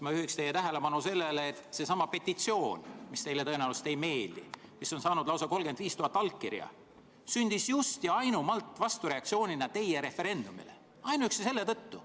Ma juhin teie tähelepanu sellele, et seesama petitsioon, mis teile tõenäoliselt ei meeldi, mis on saanud lausa 35 000 allkirja, sündis just ja ainumalt vastureaktsioonina teie referendumile, ainuüksi selle tõttu.